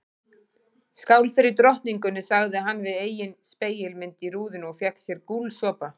Skál fyrir drottningunni sagði hann við eigin spegilmynd í rúðunni og fékk sér gúlsopa.